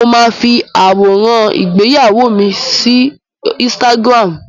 Mo máa fi àwọ̀nrán ìgbéyàwó mi sí ínsítágírámù.